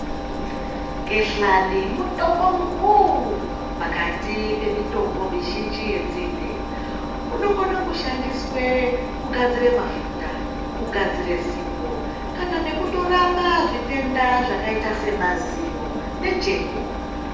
Gehlani mutombo mukuru pakati pemitombo mizhinji yenzinde inokona kushandiswa kugadzira mafuta kugadzira sipo kana nekutorapa zvitenda zvakaita semazino nejeko.